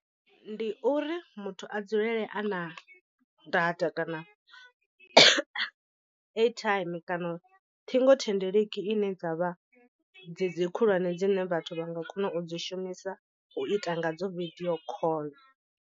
Ndi uri muthu a dzulele a na data kana airtime kana ṱhingothendeleki ine dza vha dze dzi khulwane dzine vhathu vha nga kona u dzi shumisa u ita ngadzo vidio call.